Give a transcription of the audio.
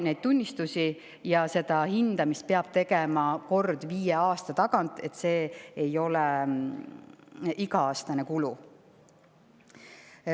Neid tunnistusi peab andma ja seda hindamist peab tegema kord viie aasta tagant, see ei ole iga-aastane kulu.